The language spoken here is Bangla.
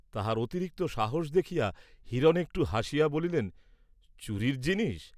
তাহার অতিরিক্ত সাহস দেখিয়া হিরণ একটু হাসিয়া বলিলেন চুরীর জিনিষ!